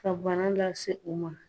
Ka bana lase o ma.